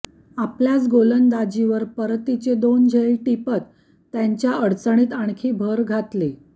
आपल्याच गोलंदाजीवर परतीचे दोन झेल टिपत त्यांच्या अडचणीत आणखी भर घातली